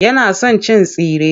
Yana son cin tsire.